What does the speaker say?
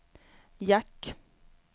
jack